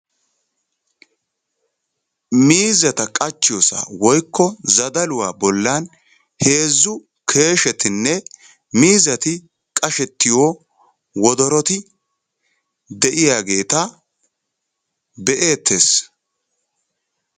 Miizzata qachchiyosa woykko zadaluwa bollan heezzu keeshetinne miizzati qashettiyo wodoroti de'iyageeta be'eettes.